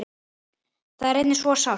Það er einnig svo sárt.